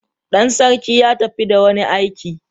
Dan sarki ya tafi da wani aiki.